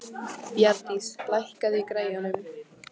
Bjarndís, lækkaðu í græjunum.